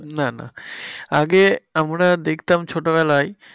না না আগে আমরা দেখতাম ছোটবেলায়,